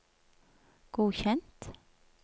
godkjent